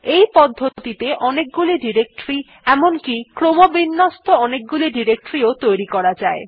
এই পদ্ধতিতে অনেকগুলি ডিরেক্টরী এমনকি ক্রমবিন্যস্ত অনেকগুলি ডিরেক্টরী ও তৈরী করা যায়